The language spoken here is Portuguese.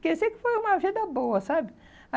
Quer dizer que foi uma vida boa, sabe?